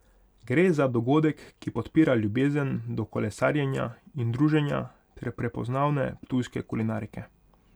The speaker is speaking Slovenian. Gre za dogodek, ki podpira ljubezen do kolesarjenja in druženja ter prepoznavne ptujske kulinarike.